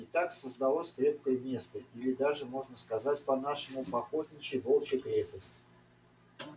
и так создалось крепкое место или даже можно сказать по-нашему по-охотничьи волчья крепость